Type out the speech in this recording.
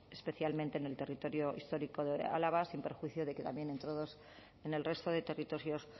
especialmente en el territorio histórico de álava sin perjuicio de que también en todos en el resto de territorios